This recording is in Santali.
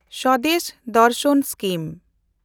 ᱥᱚᱫᱮᱥ ᱫᱮᱱᱰᱥᱟᱱ ᱥᱠᱤᱢ